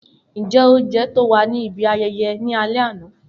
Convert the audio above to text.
Njẹ ounjẹ to wa ni ibi ayẹyẹ ni alẹ ana?